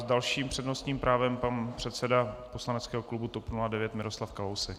S dalším přednostním právem pan předseda poslaneckého klubu TOP 09 Miroslav Kalousek.